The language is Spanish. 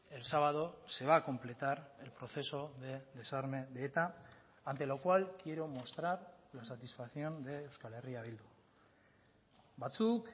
el sábado se va a completar el proceso de desarme de eta ante lo cual quiero mostrar la satisfacción de euskal herria bildu batzuk